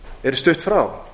er stutt frá